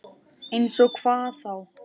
Eins og hvað þá?